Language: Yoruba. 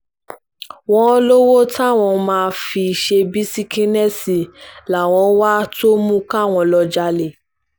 wọ́n lówó táwọn máa fi ṣe bisikínéésì làwọn ń wá tó mú káwọn lọ́ọ́ jalè